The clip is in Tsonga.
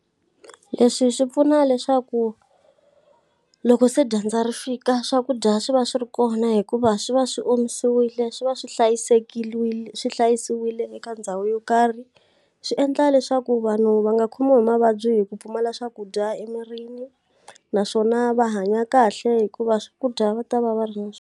Leswi swi pfuna leswaku loko se dyandza ri fika swakudya swi va swi ri kona hikuva swi va swi omisiwile, swi va swi hlayisekile swi hlayisiwile eka ndhawu yo karhi. Swi endla leswaku vanhu va nga khomiwi hi mavabyi hi ku pfumala swakudya emirini, naswona va hanya kahle hikuva swakudya va ta va va ri na swona.